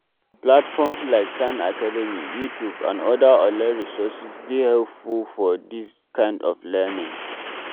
Platforms like khan academy, YouTube and oda online resources dey very helpful for dis kind of learning